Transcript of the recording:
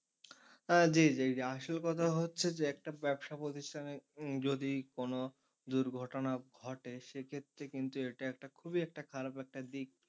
জি জি আসল কথা হচ্ছে যে একটা ব্যবসা প্রতিষ্ঠানে যদি কোন দুর্ঘটনা ঘটে সে ক্ষেত্রে কিন্তু এটা একটা খুবই একটা খারাপ একটা দিক।